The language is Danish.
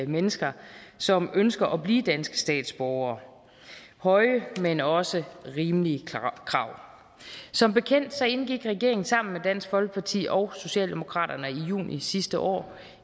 mennesker som ønsker at blive dansk statsborger høje men også rimelige krav som bekendt indgik regeringen sammen med dansk folkeparti og socialdemokraterne i juni sidste år